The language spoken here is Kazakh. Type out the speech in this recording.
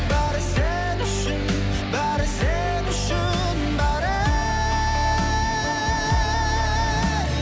бәрі сен үшін бәрі сен үшін бәрі